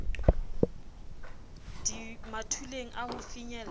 di mathuleng a ho finyella